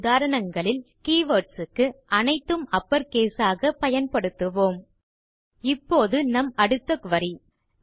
நம் உதாரணங்களில் கீவர்ட்ஸ் க்கு அனைத்தும் அப்பர் கேஸ் ஆக பயன்படுத்துவோம் இப்போது நம் அடுத்த குரி